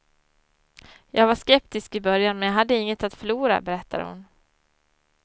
Jag var skeptisk i början men jag hade inget att förlora, berättar hon.